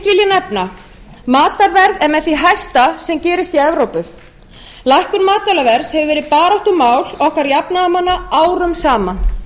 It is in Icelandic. nefna að matarverð er með því hæsta sem gerist í evrópu lækkun matvælaverðs hefur verið baráttumál okkar jafnaðarmanna árum saman